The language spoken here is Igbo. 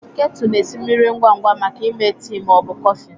Ketu na-esi mmiri ngwa ngwa maka ịme tii ma ọ bụ kọfị.